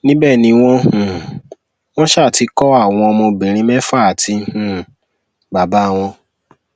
níbẹ ni wọn um wọn um ti kọ àwọn ọmọbìnrin mẹfà àti um bàbá wọn